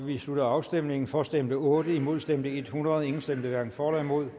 vi slutter afstemningen for stemte otte imod stemte hundrede hverken for eller imod